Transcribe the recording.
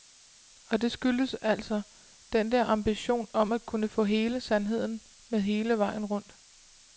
Og det skyldes altså den der ambition om at kunne få hele sandheden med hele vejen rundt.